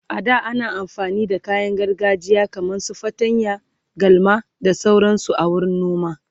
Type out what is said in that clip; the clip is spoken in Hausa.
a da ana amfani da kayan gargajiya kaman su fatanya, galma da sauransu a wurin noma.